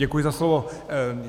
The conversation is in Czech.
Děkuji za slovo.